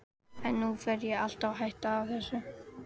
En nú fer ég alveg að hætta þessu.